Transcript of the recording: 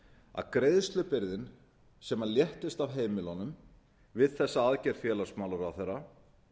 að greiðslubyrðin sem léttist af heimilunum við þessa aðgerð félagsmálaráðherra